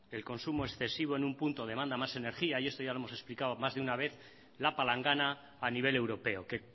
el consumo excesivo en un punto demanda más energía y esto ya lo hemos explicado más de una vez la palangana a nivel europeo que